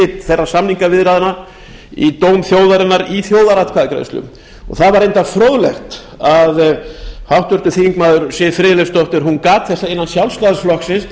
þeirra samningaviðræðna í dóm þjóðarinnar í þjóðaratkvæðagreiðslu það var reyndar fróðlegt að háttvirtur þingmaður siv friðleifsdóttir gat þess að innan sjálfstæðisflokksins